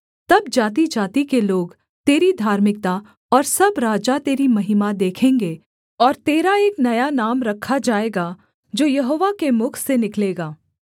तब जातिजाति के लोग तेरी धार्मिकता और सब राजा तेरी महिमा देखेंगे और तेरा एक नया नाम रखा जाएगा जो यहोवा के मुख से निकलेगा